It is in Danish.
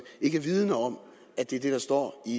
ikke er vidende om at det er det der står i